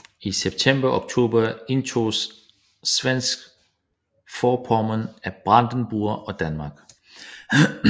I september og oktober indtoges Svensk Forpommern af Brandenburg og Danmark